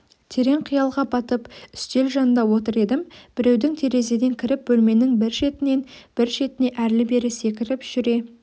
терең қиялға батып үстел жанында отыр едім біреудің терезеден кіріп бөлменің бір шетінен бір шетіне әрлі-берлі секіріп жүре